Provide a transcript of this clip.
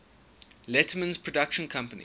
letterman's production company